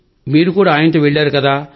మీరు కూడా ఆయనతో వెళ్లారు కదా